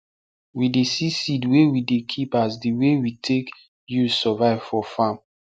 we dey see seed wey we dey keep as di way we take use survive for farm